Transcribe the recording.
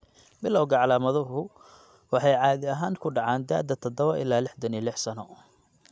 Bilawga calaamaduhu waxay caadi ahaan ku dhacaan da'da 7 iyo 66 sano.